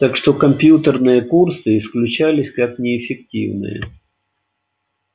так что компьютерные курсы исключались как неэффективные